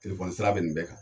Telefɔni sira bɛ nin bɛɛ kan.